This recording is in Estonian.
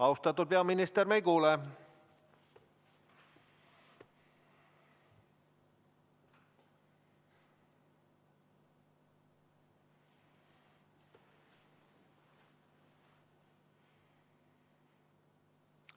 Austatud peaminister, me ei kuule.